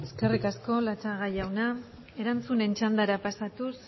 eskerrik asko latxaga jauna erantzunen txandara pasatuz